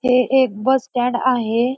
हे एक bus stand आहे.